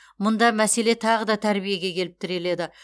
мұнда мәселе тағы да тәрбиеге келіп тіреледі